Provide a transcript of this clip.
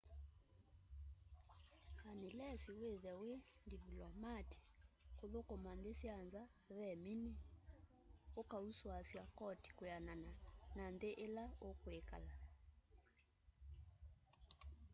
anilesi withwe wi ndivlomati kuthukuma nthi sya nza ve mini ukausuasya koti kwianana na nthi ila ukwikala